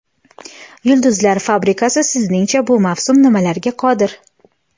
"Yulduzlar fabrikasi" sizningcha bu mavsum nimalarga qodir?.